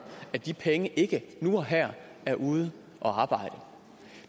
at de penge ikke nu og her er ude at arbejde